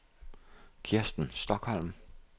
Kristen Stokholm